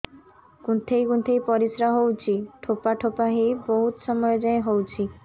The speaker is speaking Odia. କୁନ୍ଥେଇ କୁନ୍ଥେଇ ପରିଶ୍ରା ହଉଛି ଠୋପା ଠୋପା ହେଇ ବହୁତ ସମୟ ଯାଏ ହଉଛି